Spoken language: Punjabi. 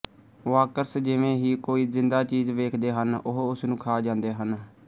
ਵਾਕਰਸ ਜਿਵੇਂ ਹੀ ਕੋਈ ਜ਼ਿੰਦਾ ਚੀਜ਼ ਵੇਖਦੇ ਹਨ ਉਹ ਉਸਨੂੰ ਖਾ ਜਾਂਦੇ ਹਨ